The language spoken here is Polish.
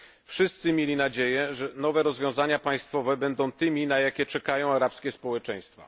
Wszyscy mieli nadzieję, że nowe rozwiązania państwowe będą tymi, na jakie czekają arabskie społeczeństwa.